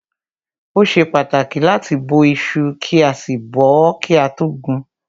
Ó ṣe pàtàkì láti bó iṣu kí a sì bọ́ọ́ kí a tó gun.